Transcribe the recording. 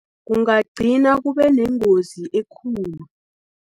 Ungagcina kubenengozi ekulu.